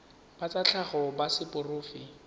ba tsa tlhago ba seporofe